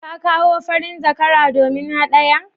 Ka kawo farin zakara domin haɗaya?